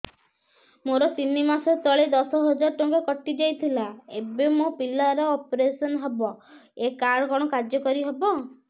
ମୋର ତିନି ମାସ ତଳେ ଦଶ ହଜାର ଟଙ୍କା କଟି ଯାଇଥିଲା ଏବେ ମୋ ପିଲା ର ଅପେରସନ ହବ ଏ କାର୍ଡ କଣ କାର୍ଯ୍ୟ କାରି ହବ